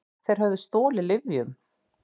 Þeir höfðu stolið lyfjum.